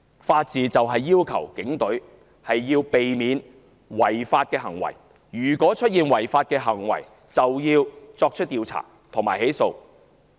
法治要求警隊必須避免違法行為。如果出現違法行為，就要作出調查及起訴。